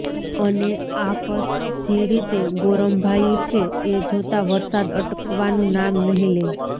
અને આકશ જે રીતે ગોરંભાયુ છે એ જોતા વરસાદ અટકવાનું નામ નહીં લે